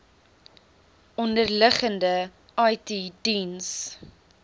onderliggende it diens